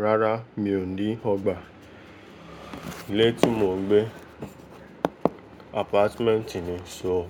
Rárá, mi ò ní ọgbà. Ilé tí mò ń gbé, apartment ni, só